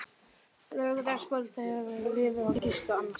Á laugardagskvöldið fór ég út á lífið og gisti annarsstaðar.